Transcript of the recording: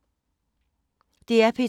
DR P2